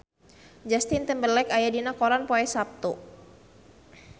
Justin Timberlake aya dina koran poe Saptu